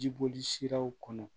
Jiboli siraw kɔnɔ